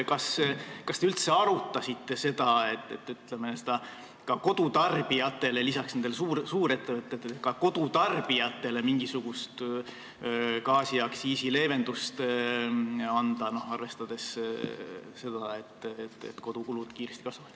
Kas te üldse arutasite seda, et peale suurettevõtete anda ka kodutarbijatele mingisugust gaasiaktsiisileevendust, arvestades seda, et kodukulud kasvavad kiiresti?